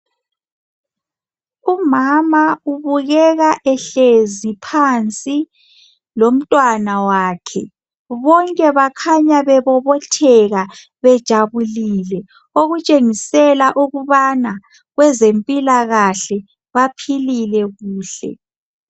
Umama ubukeka ehlezi phansi lomntwana wakhe bonke bakhanya bebobotheka bejabulile okutshengisela ukubana kwezempilakahle baphilile kuhle.